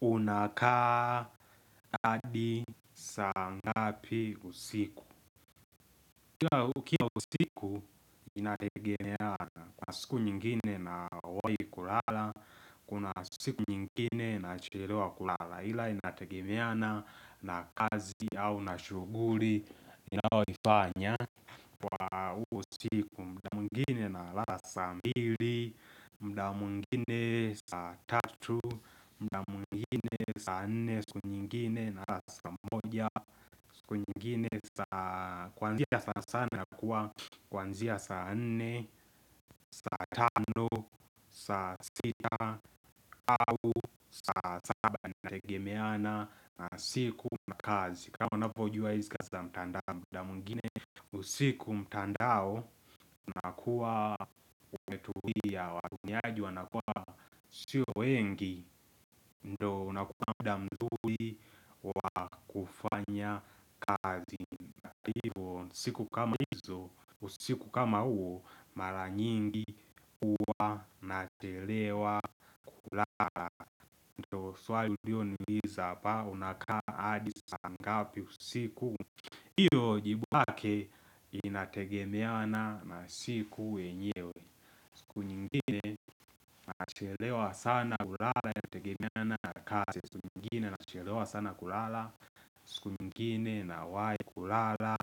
Unakaa hadi saa ngapi usiku Kila ukiwa usiku inategemea na Kuna siku nyingine nawai kulala Kuna siku nyingine nachelewa kulala ila inategemea na na kazi au na shughuri Inaoifanya kwa usiku muda mwengine nalala saa mbili mda mwengine saa tatu mda mwengine saa nne siku nyingine nalala saa moja siku nyingine saa kuanzia sana sana nakuwa kuanzia saa nne saa tano, saa sita, au saa saba inategemea na na siku na kazi kama unavyojua hizi kazi za mtandao mda mwengine usiku mtandao unakuwa umetulia watumiai wanakuwa sio wengi ndo unakuwa mda mzuri wa kufanya kazi na hivyo siku kama hizo usiku kama uo mara nyingi huwa nachelewa kulala ndio swali ulioniuliza hapa unakaa hadi saa ngapi usiku hiyo jibu lake inategemea na na siku yenyewe. Siku nyingine nachelewa sana kulala kutegemea na kazi siku nyingine nachelewa sana kulala siku nyingine nawahi kulala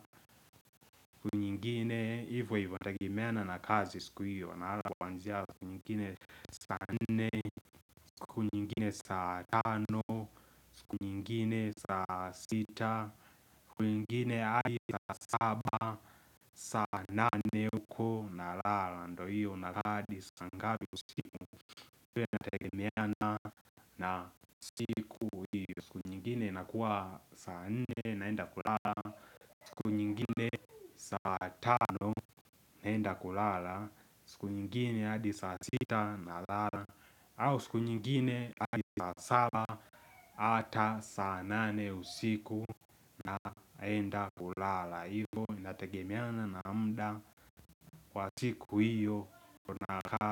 siku nyingine hivyo hivyo hutegemena na kazi siku hiyo nalala kuanzia siku nyingine saa nne siku nyingine saa tano siku nyingine saa sita siku nyingine hadi saa saba saa nane uko nalala ndio hiyo unakaa hadi saa ngapi usiku pia inategemeana na siku siku nyingine inakuwa saa nne naenda kulala siku unyingine saa tano naenda kulala siku nyingine hadi saa sita nalala au siku nyingine hadi saa saba hata saa nane usiku naenda kulala hivyo nategemeana na mda wa siku hiyo unakaa.